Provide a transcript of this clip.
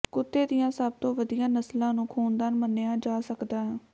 ਕੁੱਤੇ ਦੀਆਂ ਸਭ ਤੋਂ ਵਧੀਆ ਨਸਲਾਂ ਨੂੰ ਖ਼ੂਨਦਾਨ ਮੰਨਿਆ ਜਾ ਸਕਦਾ ਹੈ